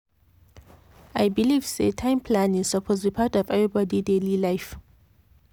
i believe say time planning suppose be part of everybody daily life.